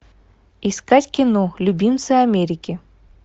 искать кино любимцы америки